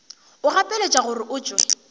o gapeletšwa gore o tšwe